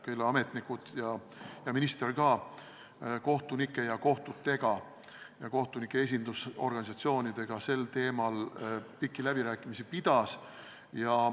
Sealsed ametnikud ja minister pidasid ka kohtunike ja kohtunike esindusorganisatsioonidega sel teemal pikki läbirääkimisi.